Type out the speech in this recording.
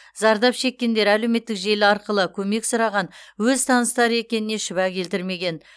зардап шеккендер әлеуметтік желі арқылы көмек сұраған өз таныстары екеніне шүбә келтірмеген